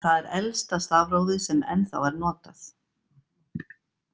Það er elsta stafrófið sem enn þá er notað.